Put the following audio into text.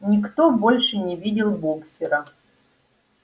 никто больше не видел боксёра